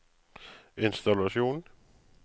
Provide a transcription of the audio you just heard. innstallasjon